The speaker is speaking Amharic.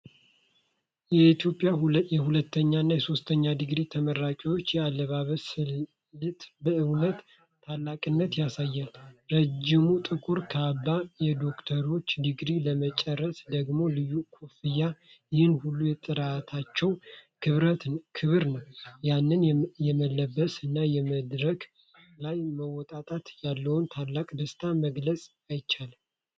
የኢትዮጵያ የሁለተኛ እና የሶስተኛ ዲግሪ ተመራቂዎች የአለባበስ ስልት በእውነት ታላቅነትን ያሳያል! ረጅሙ ጥቁር ካባ፣ የዶክትሬት ዲግሪ ለሚጨርሱ ደግሞ ልዩ ኮፍያ...ይህ ሁሉ የጥረታቸው ክብር ነው! ያንን መለበስ እና በመድረክ ላይ መውጣት ያለውን ታላቅ ደስታ መግለጽ አይቻልም!